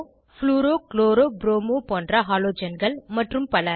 fluoro chloro bromo போன்ற ஹாலொஜன்கள் மற்றும் பல